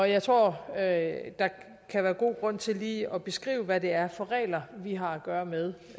jeg tror at der kan være god grund til lige at beskrive hvad det er for regler vi har at gøre med